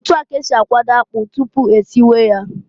Otu a k'esi akwado akpụ tụpụ esiwe ya.